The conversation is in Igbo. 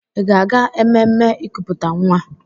Ị ga-aga ememme ikuputa nwa?